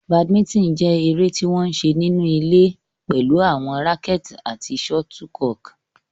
Badminton jẹ́ eré tí wọ́n ń ṣe nínú ilé pẹ̀lú àwọn rackets àti shuttlecock.